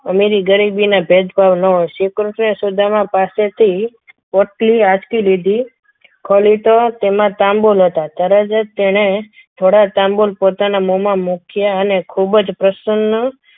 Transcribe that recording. અમીરી અને ગરીબીના ભેદભાવ ના હોય શ્રીકૃષ્ણ અને સુદામા પાસેથી પોટલી હાથ થી લીધી ખોલ્યું તો તેમાં તાંબુલ નોહતા તરત જ થોડા તાંબુલ તેણે પોતાના મોમાં મૂક્યા અને ખૂબ જ પ્રસન્ન